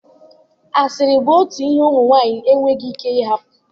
Asịrị bụ otu ihe ụmụ nwanyị enweghị ike ịhapụ